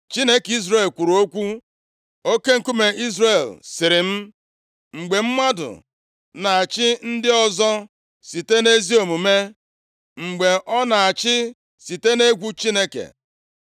Chineke Izrel kwuru okwu, Oke nkume Izrel sịrị m, ‘Mgbe mmadụ na-achị ndị ọzọ site nʼezi omume, mgbe ọ na-achị site nʼegwu Chineke.